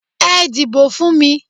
Ẹ dìbò fún mi!